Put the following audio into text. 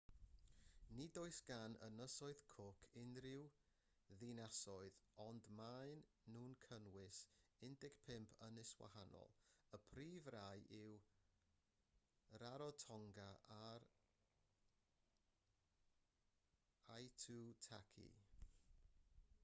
nid oes gan ynysoedd cook unrhyw ddinasoedd ond maen nhw'n cynnwys 15 ynys wahanol y prif rai yw rarotonga ac aitutaki